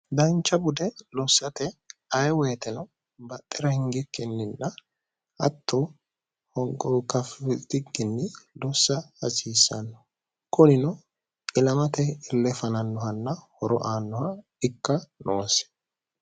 dancha bude lossate aye woyiteno baxxira hingikkenninna hatto honqokafikinni dussa hasiissanno kunino ilamate illefanannohanna horo aannoha ikka noose